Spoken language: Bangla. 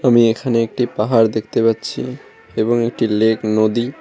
আমি এখানে একটি পাহাড় দেখতে পাচ্ছি এবং একটি লেক নদী--